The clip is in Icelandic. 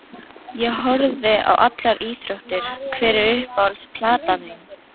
Ég horfi á allar íþróttir Hver er uppáhalds platan þín?